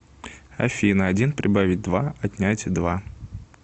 афина один прибавить два отнять два